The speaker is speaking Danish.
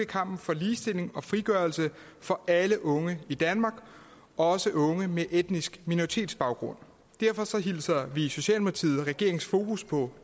kampen for ligestilling og frigørelse for alle unge i danmark også unge med etnisk minoritetsbaggrund derfor hilser vi i socialdemokratiet regeringens fokus på